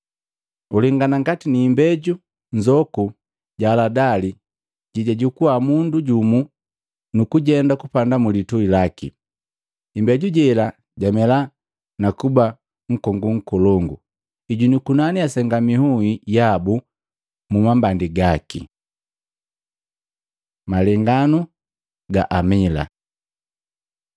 Uwanangana ngati imbeju nzoku ja haladali jejajukua mundu jumu nukujenda kupanda mu lituhi laki. Imbeji jela jamela nakuba nkongu nkolongu, ijuni yukunani yasenga inhui yabu mu mambandi gaki.” Malenganu ga amila Matei 13:31-32; Maluko 4:30-32